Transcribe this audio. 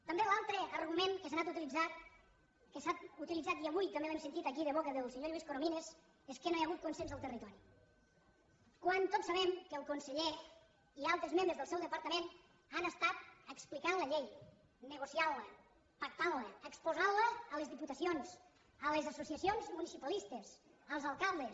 també l’altre argument que s’ha anat utilitzant que s’ha utilitzat i avui també l’hem sentit aquí de boca del senyor lluís corominas és que no hi ha hagut consens al territori quan tots sabem que el conseller i altres membres del seu departament han estat explicant la llei negociant la pactant la exposant la a les diputacions a les associacions municipalistes als alcaldes